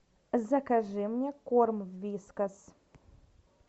закажи мне корм вискас